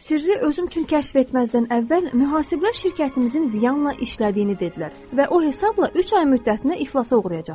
Sirri özüm üçün kəşf etməzdən əvvəl, mühasiblər şirkətimizin ziyanla işlədiyini dedilər və o hesabda üç ay müddətində iflasa uğrayacaqdım.